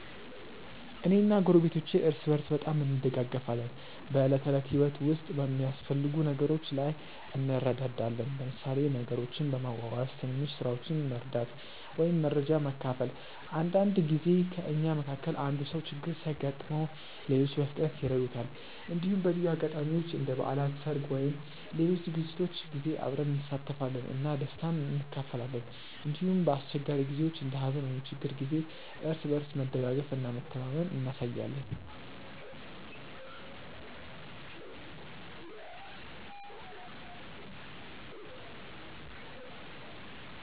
እኔ እና ጎረቤቶቼ እርስ በርስ በጣም እንደጋገፋለን። በዕለት ተዕለት ህይወት ውስጥ በሚያስፈልጉ ነገሮች ላይ እንረዳዳለን፣ ለምሳሌ ነገሮችን በመዋዋስ፣ ትንሽ ስራዎችን መርዳት ወይም መረጃ መካፈል። አንዳንድ ጊዜ ከእኛ መካከል አንዱ ሰው ችግር ሲያጋጥመው ሌሎች በፍጥነት ይረዱታል። እንዲሁም በልዩ አጋጣሚዎች እንደ በዓላት፣ ሰርግ ወይም ሌሎች ዝግጅቶች ጊዜ አብረን እንሳተፋለን እና ደስታን እንካፈላለን። እንዲሁም በአስቸጋሪ ጊዜዎች እንደ ሀዘን ወይም ችግር ጊዜ እርስ በርስ መደጋገፍ እና መተማመን እናሳያለን።